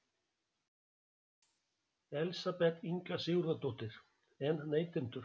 Elísabet Inga Sigurðardóttir: En neytendur?